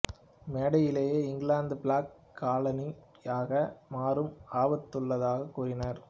மேடையிலே England black colony யாக மாறும் ஆபத்துள்ளாதாக கூறினார்